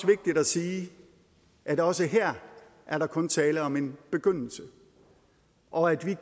vigtigt at sige at også her er der kun tale om en begyndelse og at vi